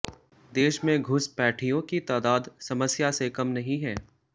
देश में घुसपैठियों की तादाद समस्या से कम नहीं है